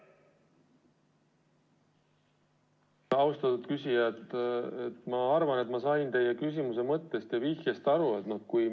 Austatud küsija, ma arvan, et ma sain teie küsimuse mõttest ja vihjest aru.